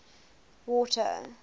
water